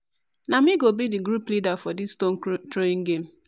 na me go be di group leader for dis stone throwing game